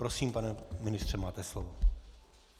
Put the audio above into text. Prosím, pane ministře, máte slovo.